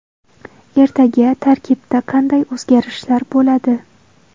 Ertaga tarkibda qanday o‘zgarishlar bo‘ladi?